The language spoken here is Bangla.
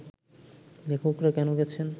লেখকরা কেন গেছেন